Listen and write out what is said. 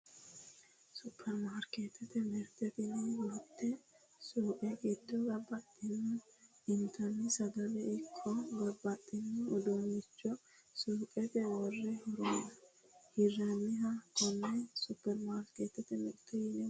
Supermarkeetete mirte tini mitte suuqe giddo babbaxxinore intanni sagaleno ikko babbaxxino uduunnicho suuqete worre hirranniha konne supermarkeetete mirte yine woshshinanni